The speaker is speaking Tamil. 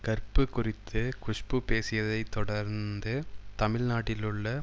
கற்பு குறித்து குஷ்பு பேசியதை தொடர்ந்து தமிழ் நாட்டிலுள்ள